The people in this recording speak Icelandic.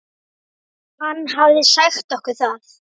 Hann hafði sagt okkur það.